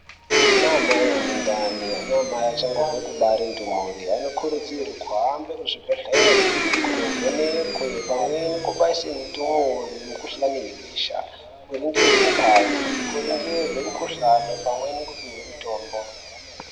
Ana mai ane ndani, ana mai achangobva kubara ndumuri anokurudzirwa kuhambe muzvibhehleri kundovhenekwa pamwe nekubaise ndumuri mukuhlani yebesha, kuringirwe ngazi, kuringirwe mukuhlani pamwe nekupihwe mutombo.